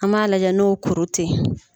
An b'a lajɛ n'o kuru tɛ ye.